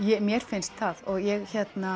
mér finnst það og ég